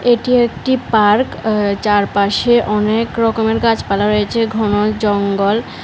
এটি একটি পার্ক আ-চারপাশে অনেক রকমের গাছপালা রয়েছে ঘন জঙ্গল।